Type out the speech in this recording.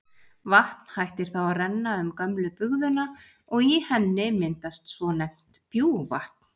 Vatn hættir þá að renna um gömlu bugðuna og í henni myndast svonefnt bjúgvatn.